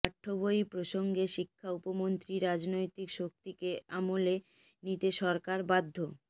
পাঠ্যবই প্রসঙ্গে শিক্ষা উপমন্ত্রী রাজনৈতিক শক্তিকে আমলে নিতে সরকার বাধ্য